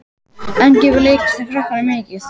En gefur leiklistin krökkunum mikið?